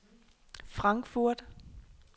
Frankfurt